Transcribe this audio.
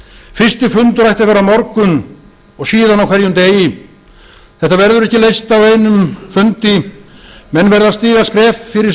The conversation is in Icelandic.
fyrsti fundur ætti að vera á morgun og síðan á hverjum degi þetta verður ekki leyst á einum fundi menn verða að stíga skref fyrir